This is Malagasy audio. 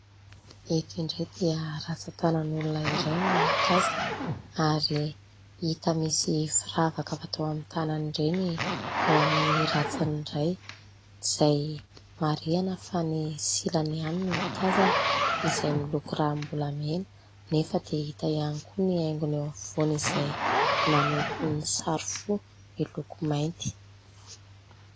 Eto indray dia ratsan-tanan'olona iray no tazana ary hita misy firavaka fatao amin'ny tanana ireny eo amin'ny ratsany iray, izay marihina fa ny silany ihany no tazana izay miloko ranombolamena nefa dia hita ihany koa ny haingony eo afovoany izay maneho toy ny sary fo, miloko mainty.